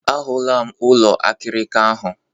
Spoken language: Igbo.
A hụla m ụlọ akịrịka ahụ.